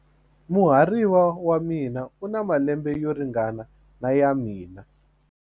Muhariva wa mina u na malembe yo ringana na ya mina.